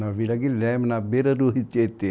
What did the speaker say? Na Vila Guilherme, na beira do Ritietê.